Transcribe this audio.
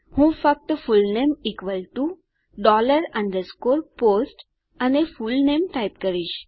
હું ફક્ત full name underscore post અને ફુલનેમ ટાઈપ કરીશ